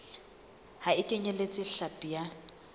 ha e kenyeletse hlapi ya